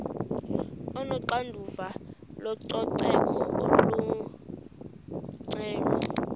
onoxanduva lococeko olungcono